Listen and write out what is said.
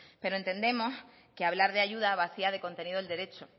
pero entendemos que hablar de ayuda vacía de contenido el derecho